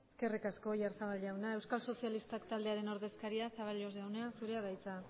eskerrik asko oyarzabal jauna euskal sozialistak taldearen ordezkaria zaballos jauna zurea da hitza